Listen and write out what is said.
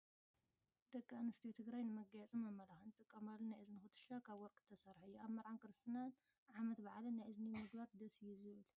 ደቂ ኣብስትዮ ትግራይ ንመጋየፅን መመላክዕን ዝጥቀማሉ ናይ እዝኒ ኩትሻ ካብ ወርቂ ዝተሰረሓ እዩ። ኣብ መረዓን ክርስትናን ዓመት ባዓልን ናይ እዝኒ ምግባር ደስ እዩ ዝብል።